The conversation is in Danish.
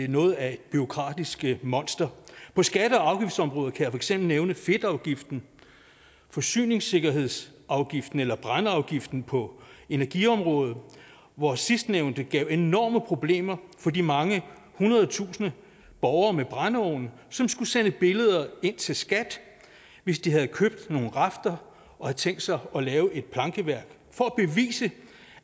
noget af et bureaukratisk monster på skatte og afgiftsområdet kan jeg for eksempel nævne fedtafgiften forsyningssikkerhedsafgiften eller brændeafgiften på energiområdet hvor sidstnævnte gav enorme problemer for de mange hundrede tusinde borgere med brændeovne som skulle sende billeder ind til skat hvis de havde købt nogle rafter og havde tænkt sig at lave et plankeværk for at bevise